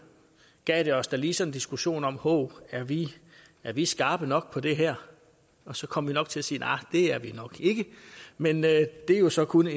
gav det os da lige sådan en diskussion om hov er vi er vi skarpe nok på det her og så kom vi nok til at sige arh det er vi nok ikke men det er jo så kun